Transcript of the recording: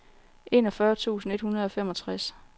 enogfyrre tusind et hundrede og femogtres